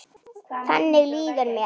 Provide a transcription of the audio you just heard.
Þannig líður mér.